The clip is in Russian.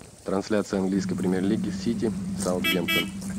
трансляция английской премьер лиги сити саутгемптон